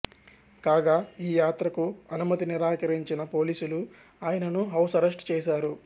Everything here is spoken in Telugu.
కాగా ఈ యాత్రకు అనుమతి నిరాకరించిన పోలీసులు ఆయనను హౌస్ అరెస్ట్ చేశారు